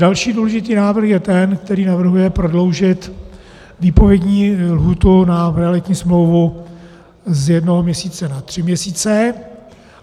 Další důležitý návrh je ten, který navrhuje prodloužit výpovědní lhůtu na realitní smlouvu z jednoho měsíce na tři měsíce.